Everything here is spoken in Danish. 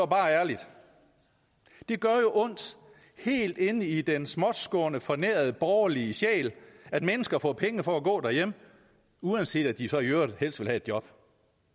bare ærligt det gør jo ondt helt inde i den småtskårne fornærede borgerlige sjæl at mennesker får penge for at gå derhjemme uanset at de så i øvrigt helst vil have et job